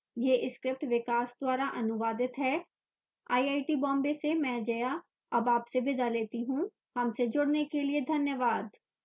यह script विकास द्वारा अनुवादित है मैं जया अब आपसे विदा लेती हूँ हमसे जुडने के लिए धन्यवाद